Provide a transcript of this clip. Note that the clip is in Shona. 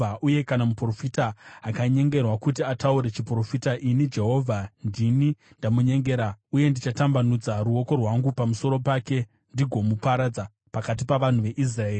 “ ‘Uye kana muprofita akanyengerwa kuti ataure chiprofita, ini Jehovha ndini ndamunyengera, uye ndichatambanudza ruoko rwangu pamusoro pake ndigomuparadza pakati pavanhu veIsraeri.